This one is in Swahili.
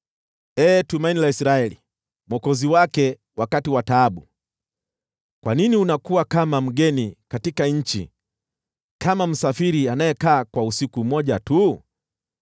Ee Tumaini la Israeli, Mwokozi wake wakati wa taabu, kwa nini unakuwa kama mgeni katika nchi, kama msafiri anayekaa kwa usiku mmoja tu?